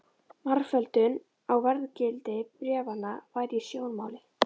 Margföldun á verðgildi bréfanna var í sjónmáli.